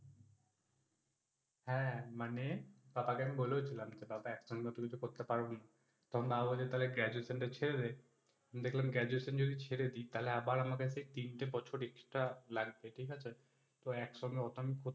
হ্যা, মানে পাপাকে আমি বলেও ছিলাম যে পাপা এক সঙ্গে ওতো কিছু করতে পারবো না, তখন বাবা বলে Graduation টা ছেরে দে। দেখলাম Graduation যদি ছেরে দিই তাইলে আবার আমার কাছে তিন টা বছর extra লাগবে ঠিক আছে। তো এক সঙ্গে ওটা আমি